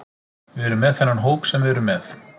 Við erum með þennan hóp sem við erum með.